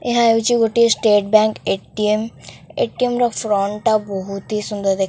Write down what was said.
ଏହା ହଉଛି ଗୋଟିଏ state bank A T M A T M ର ଫ୍ରଣ୍ଟ ଟା ବହୁତି ସୁନ୍ଦର ଦେଖା।